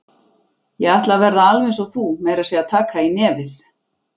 Ég ætla að verða alveg eins og þú, meira að segja taka í nefið.